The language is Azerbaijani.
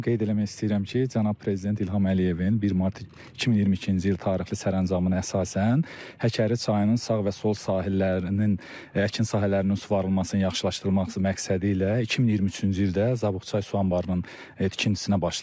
Qeyd eləmək istəyirəm ki, Cənab Prezident İlham Əliyevin 1 mart 2022-ci il tarixli sərəncamına əsasən Həkəri çayının sağ və sol sahillərinin əkin sahələrinin suvarılmasını yaxşılaşdırmaq məqsədi ilə 2023-cü ildə Zabuqçay su anbarının tikintisinə başladıq.